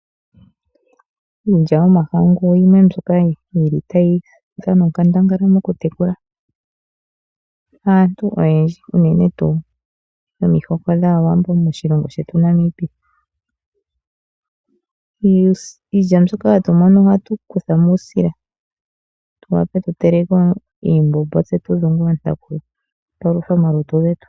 Iilya yomahangu yimwe mbyoka yili tayi dhana onkandangala mokutekula aantu oyendji unene tuu omihoko dhAawambo moshilongo shetu Namibia. Iilya mbyoka hatumono ohatu kuthamo uusila opo tudhunge ontaku tupaluthe omalutu getu.